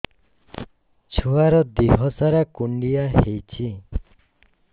ଛୁଆର୍ ଦିହ ସାରା କୁଣ୍ଡିଆ ହେଇଚି